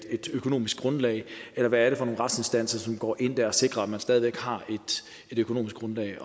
et økonomisk grundlag eller hvad er det for nogle retsinstanser som dér går ind og sikrer at man stadig væk har et økonomisk grundlag